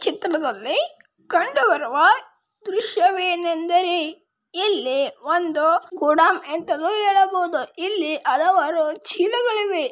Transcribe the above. ಈ ಚಿತ್ರದಲ್ಲಿ ಕಂಡು ಬರುವ ದೃಶ್ಯವೇನೆಂದರೆ ಇಲ್ಲಿ ಒಂದು ಗೋಡನ್ ಅಂತಲೂ ಹೇಳಬಹುದು ಇಲ್ಲಿ ಹಲವಾರು ಚೀಲಗಳಿವೆ.